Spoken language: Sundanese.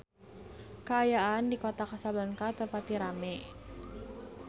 Kaayaan di Kota Kasablanka teu pati rame